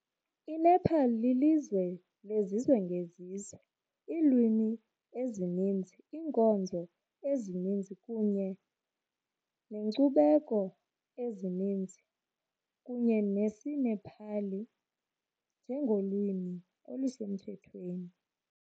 INepal lilizwe lezizwe ngezizwe, iilwimi ezininzi, iinkonzo ezininzi kunye neenkcubeko ezininzi, kunye nesiNepali njengolwimi olusemthethweni.